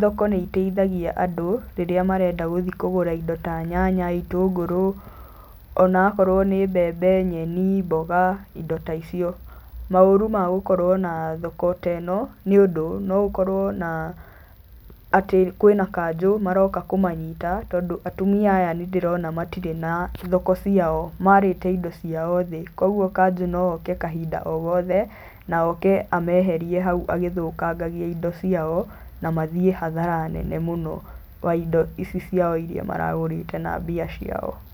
thoko nĩ iteithagia andũ rĩrĩa marenda gũthi kũgũra indo ta nyanya, itũngũrũ, onakorwo nĩ mbembe, nyeni, mboga, indo ta icio. Maũru ma gũkorwo na thoko teno nĩ ũndũ no ũkorwo na atĩ kwĩna kanjũ maroka kũmanyita, tondũ atumia aya nĩndĩrona matirĩ na thoko ciao, marĩte indo ciao thĩ, koguo kanjũ no oke kahinda o gothe na oke ameherie hau agĩthũkangagia indo ciao na mathiĩ hathara nene mũno wa indo ici ciao iria maragũrĩte na mbia ciao.